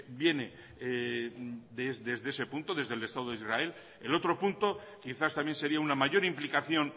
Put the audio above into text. viene desde ese punto desde el estado de israel el otro punto quizás también sería una mayor implicación